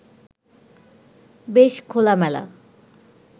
বেশ খোলামেলা